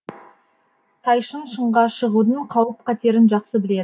тайшын шыңға шығудың қауіп қатерін жақсы біледі